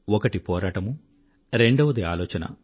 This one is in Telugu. ఒకటి పోరాటమూ రెండవది ఆలోచన